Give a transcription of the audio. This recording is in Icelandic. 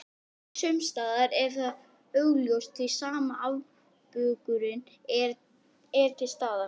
Sumsstaðar er það augljóst því sama afbökunin er til staðar.